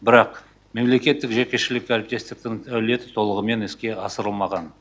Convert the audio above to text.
бірақ мемлекеттік жекешілік әріптестіктің әлеуеті толығымен іске асырылмаған